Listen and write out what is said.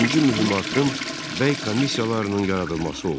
İkinci mühüm addım Bəy komissiyalarının yaradılması oldu.